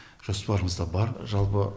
жоспарымызда бар жалпы